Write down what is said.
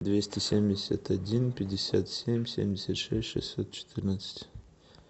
двести семьдесят один пятьдесят семь семьдесят шесть шестьсот четырнадцать